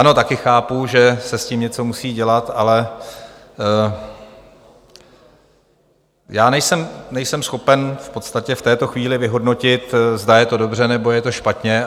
Ano, také chápu, že se s tím něco musí dělat, ale já nejsem schopen v podstatě v této chvíli vyhodnotit, zda je to dobře, nebo je to špatně.